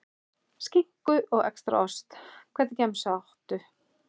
Skinku og extra ost Hvernig gemsa áttu?